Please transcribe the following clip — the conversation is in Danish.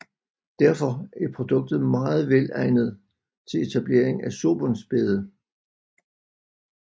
Derfor er produktet meget velegnet til etablering af surbundsbede